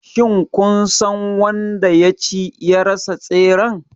Shin kun san wanda ya ci / ya rasa tseren?